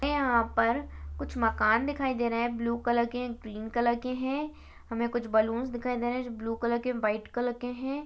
यहाँ पर कुछ मकान दिखाई दे रहा है ब्लू कलर के ग्रीन कलर के है हमें कुछ बलूंस दिखाई दे रहे है जो ब्लू कलर के व्हाइट कलर के है।